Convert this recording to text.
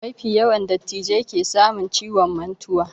Mafi yawa dattijai ke samun ciwon mantuwa